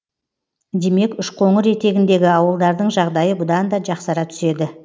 демек үшқоңыр етегіндегі ауылдардың жағдайы бұдан да жақсара түседі